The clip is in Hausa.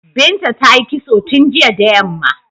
Binta ta yi kitso tun jiya da yamma.